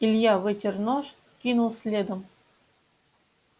илья вытер нож кинул следом